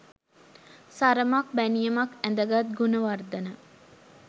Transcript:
සරමක් බැනියමක් ඇඳගත් ගුණවර්ධන